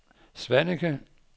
Svaneke